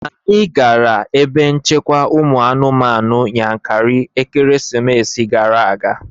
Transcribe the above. Anyị gara ebe nchekwa ụmụ anụmanụ Yankari ekeresimesi gara aga